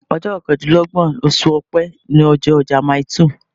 Ọjọ́ kọkàndínlọ́gbọ̀n oṣù Ọ̀pẹ ni ọjọ́ ọjà Mile two.